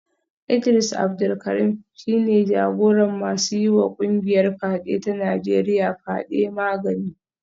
Idris Abdul Karim shi ne jagoran masu yiwa kungiyar fyade ta Najeriya fyade; Magani